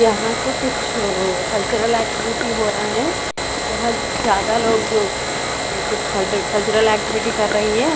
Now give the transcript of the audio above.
यहां तो कुछ कल्चरल एक्टिविटी हो रहा हैं यहां ज्यादा लोग अं कुछ कल्चरल एक्टिविटी कर रही है।